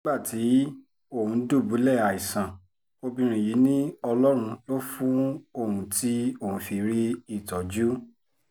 nígbà tí òun dùbúlẹ̀ àìsàn obìnrin yìí ni ọlọ́run lò fún òun tí òun fi rí ìtọ́jú